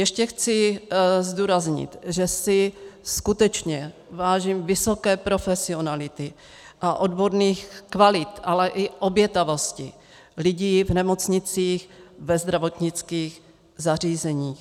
Ještě chci zdůraznit, že si skutečně vážím vysoké profesionality a odborných kvalit, ale i obětavosti lidí v nemocnicích, ve zdravotnických zařízeních.